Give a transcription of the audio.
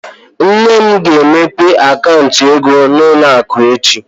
Nne m ga-emepe akaụntụ ego n'ụlọ akụ echi.